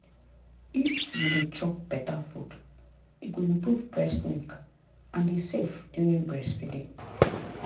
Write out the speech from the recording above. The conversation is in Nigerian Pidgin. if you dey chop better food e go improve breast milk and e safe during breastfeeding.